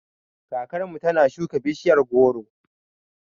Kakar mu ta na shuka bishiyar goro